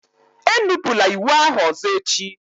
Enupụla iwu ahụ ọzọ echi!